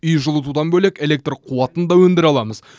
үй жылытудан бөлек электр қуатын да өндіре аламыз